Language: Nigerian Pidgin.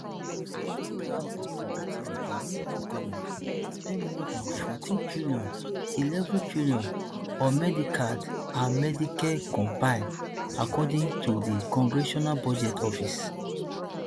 for two thousand and twenty-three di us government spend more dan fourteen trillion eleven trillion on medicaid and medicare combine according to di congressional budget office